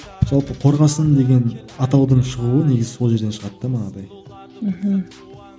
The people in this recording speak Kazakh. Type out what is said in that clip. жалпы қорғасын деген атаудың шығуы негізі сол жерден шығады да манағыдай мхм